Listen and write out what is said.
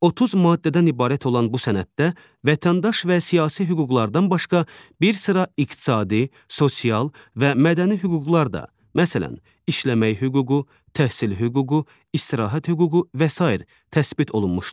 30 maddədən ibarət olan bu sənəddə vətəndaş və siyasi hüquqlardan başqa, bir sıra iqtisadi, sosial və mədəni hüquqlar da, məsələn, işləmək hüququ, təhsil hüququ, istirahət hüququ və sair təsbit olunmuşdur.